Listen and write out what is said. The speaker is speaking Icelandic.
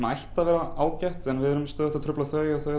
ætti að vera ágætt en við erum stöðugt að trufla þau og þau